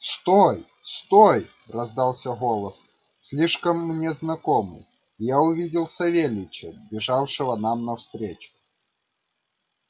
стой стой раздался голос слишком мне знакомый и я увидел савельича бежавшего нам навстречу